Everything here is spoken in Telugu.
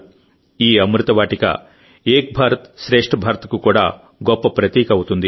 ఈ అమృత వాటిక ఏక్ భారత్ శ్రేష్ఠ భారత్ కు కూడా గొప్ప ప్రతీక అవుతుంది